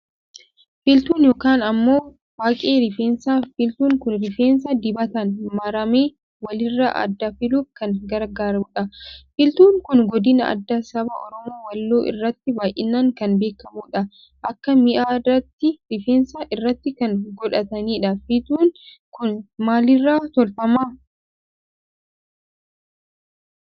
Filtuu yookaan ammoo faaqqee rifeensaa Filtuun kun rifeensa dibataan marame walirraa adda filuuf kan gargaarudha. Filtuun kun godina addaa saba Oromoo Walloo biratti baay'inaan kan beekamudha. Akka mi'a aadaatti rifeensa irratti kan godhatanidha. Filtuun kun maalirraa tolfama?